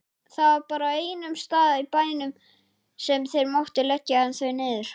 Það var bara á einum stað í bænum sem þeir máttu leggja þau niður.